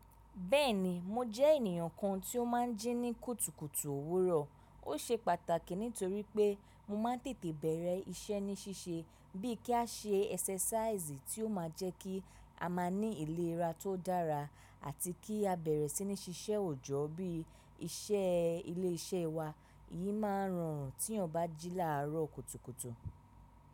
Bẹ́ẹ̀ni, mo jẹ́ ènìyàn kan tí ó máa ń jí ní kùtùkùtù òwúrọ̀. Ó ṣe pàtàkì nítorí pé mo máa ń tètè bẹ̀rẹ̀ iṣẹ́ ní ṣíṣe bíi kí a ṣe ẹsẹsẹ̀sáiìsì tí ó máa jẹ́ kí a máa ní ìlera tó dára àti kí a bẹ̀rẹ̀ sí ní ṣiṣẹ́ òjọ́ bíi iṣẹ́ ilé iṣẹ́ wa. Èyí máa ń rọrùn tí ẹn ò bá jí láàárọ̀ kùtùkùtù.